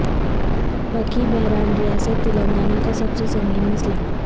برقی بحران ریاست تلنگانہ کا سب سے سنگین مسئلہ